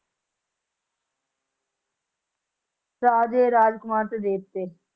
ਰਾਜੇ, ਰਾਜਕੁਮਾਰ ਤੇ ਦੇਵਤੇ